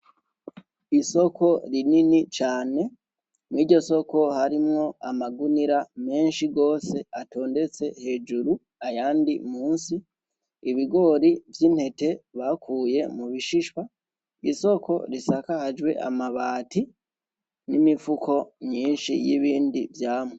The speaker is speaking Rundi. Isoko rinini cane, muriryo soko harimwo amagunira menshi gose atondetse hejuru, ayandi munsi, ibigori vy'intete bakuye mu bishishwa, isoko risakajwe n'amabati n'imifuko myinshi y'ibindi vyamwa.